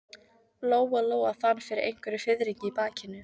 Lóa Lóa fann fyrir einhverjum fiðringi í bakinu.